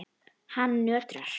Hann nötrar.